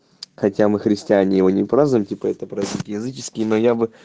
хотя мы христиане его не празднуем это праздник языческий но я бы